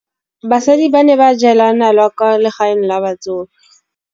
Basadi ba ne ba jela nala kwaa legaeng la batsofe.